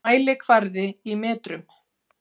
Mælikvarði í metrum.